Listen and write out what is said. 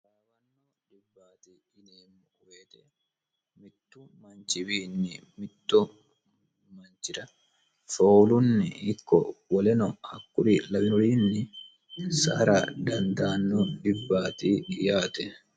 Taraawanno dhibbaati yineemmo woyte mittu manchiwiinni mittu manchira foolunni ikko woleno hakkuri lawinoriinni sa"ara dandaanno dhibbaati yaate